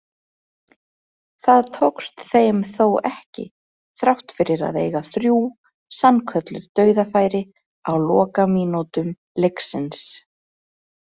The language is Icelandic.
Það tókst þeim þó ekki þrátt fyrir að eiga þrjú sannkölluð dauðafæri á lokamínútum leiksins.